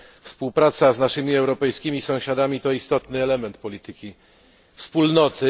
Współpraca z naszymi europejskimi sąsiadami to istotny element polityki Wspólnoty.